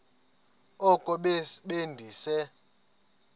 oko be ndise